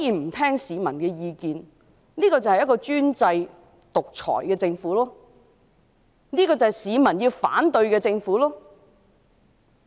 不聽市民意見，便是專制獨裁的政府，而這就是市民要反對的政府。